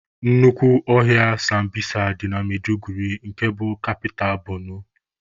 Nnukwu ọhịa sambisa dị na Maiduguri nke bụ kapita Borno